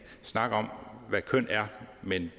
snak om hvad køn er men